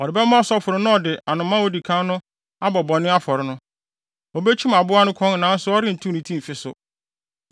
Ɔde bɛma ɔsɔfo no na ɔde anomaa a odi kan no abɔ bɔne afɔre no. Obekyim aboa no kɔn nanso ɔrentew ne ti mfi so,